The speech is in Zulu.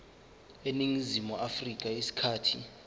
eningizimu afrika isikhathi